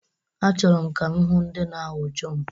Achọrọ m ka m hụ ndị na-awụ jọmp.